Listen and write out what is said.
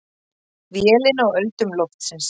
Vélin á öldum loftsins.